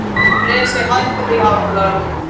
Bresi, hækkaðu í hátalaranum.